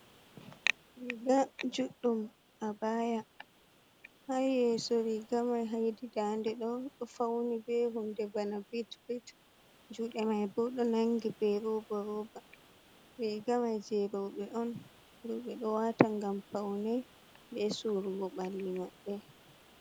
Riga juɗɗum a baya, ha yeso rigamai hedi ndade ɗo, ɗo fauni be hunde bana bit bit, juɗe mai bo ɗo nangi be ruba roba, rigamai je roɓe on, roɓe ɗo wata gam paunei be surugo ɓalli maɓɓe.